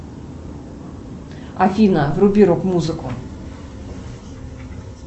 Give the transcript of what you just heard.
афина вруби рок музыку